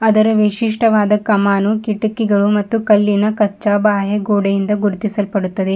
ಅದರ ವಿಶಿಷ್ಟವಾದ ಕಮಾನು ಕಿಟಕಿಗಳು ಮತ್ತು ಕಲ್ಲಿನ ಕಚ್ಚಾ ಬಾಹ್ಯ ಗೋಡೆಯಿಂದ ಗುರುತಿಸಲ್ಪಡುತ್ತದೆ.